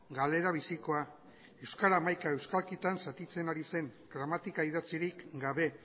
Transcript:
galera bizikoa euskara hamaika euskalkitan zatitzen ari zen gramatika idatzirik gabe